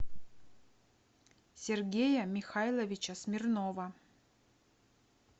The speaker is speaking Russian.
сергея михайловича смирнова